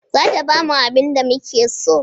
Za ta bamu abinda muke so